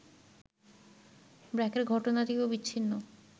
ব্র্যাকের ঘটনাটিও বিচ্ছিন্ন